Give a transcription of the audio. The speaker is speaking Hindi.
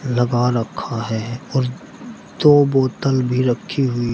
लगा रखा है और दो बोतल भी रखी हुई --